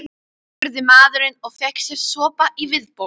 spurði maðurinn og fékk sér sopa í viðbót.